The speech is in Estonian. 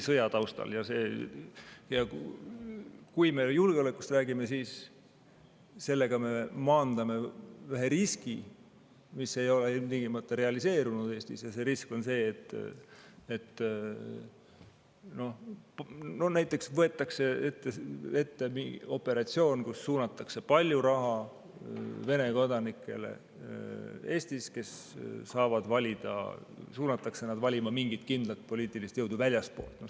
Ja kui me julgeolekust räägime, siis sellega me maandame ühe riski, mis ei ole ilmtingimata realiseerunud Eestis, ja see risk on see, et kui näiteks võetakse ette operatsioon, kus suunatakse väljastpoolt palju raha Vene kodanikele Eestis, kes saavad valida, suunatakse nad valima mingit kindlat poliitilist jõudu.